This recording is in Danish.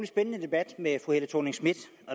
spændende debat med fru helle thorning schmidt